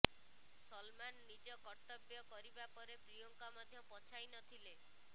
ସଲମାନ ନିଜ କର୍ତ୍ତବ୍ୟ କରିବା ପରେ ପ୍ରିୟଙ୍କା ମଧ୍ୟ ପଛାଇ ନଥିଲେ